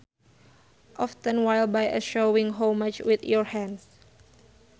Often while by a showing how much with your hands